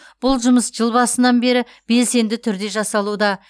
бұл жұмыс жыл басынан бері белсенді түрде жасалуда